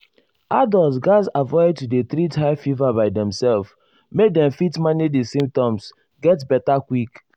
adults gatz avoid to dey treat high fever by demself make dem fit manage di symptoms get beta quick.